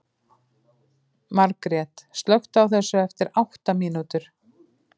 Margret, slökktu á þessu eftir átta mínútur.